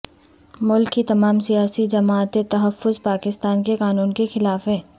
ملک کی تمام سیاسی جماعتیں تحفظ پاکستان کے قانون کے خلاف ہیں